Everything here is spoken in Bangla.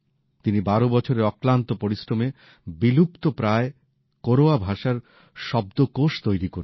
তিনি ১২ বছরের অক্লান্ত পরিশ্রমে বিলুপ্ত প্রায় কোরওয়া ভাষার শব্দকোষ তৈরি করেছেন